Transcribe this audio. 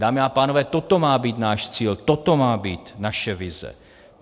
Dámy a pánové, toto má být náš cíl, toto má být naše vize.